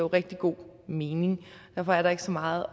rigtig god mening derfor er der ikke så meget